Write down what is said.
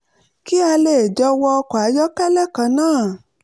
kí a lè jọ wọ ọkọ̀ ayọ́kẹ́lẹ́ kan náà